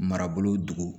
Marabolo